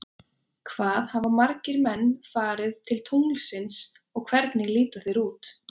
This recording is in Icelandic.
Hvað hafa margir menn farið til tunglsins og hvernig líta þeir út?